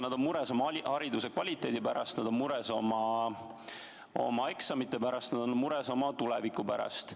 Nad on mures oma hariduse kvaliteedi pärast, nad on mures oma eksamite pärast, nad on mures oma tuleviku pärast.